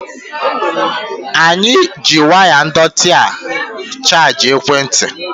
Anyi ji waya ndọtị a chaji ekwe nti